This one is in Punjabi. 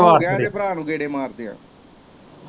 ਹੋਗਿਆ ਇਦੇ ਭਰਾ ਨੂੰ ਗੇੜੇ ਮਾਰਦਿਆ।